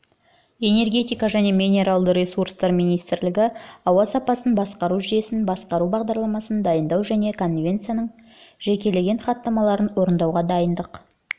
энергетика және минералды ресурстар министрлігі ауа сапасын басқару жүйесін басқару бағдарламасын дайындау және конвенциясының жекелеген хаттамаларын орындауға дайындық